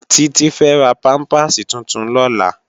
Titi fè rá pàmpásí tútún lòlá